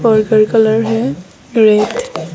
purple colour है